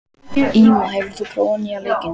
Íma, hefur þú prófað nýja leikinn?